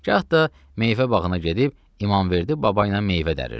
gah da meyvə bağına gedib İmamverdi baba ilə meyvə dəririrdi.